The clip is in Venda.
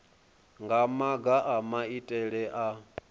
nga maga a maitele a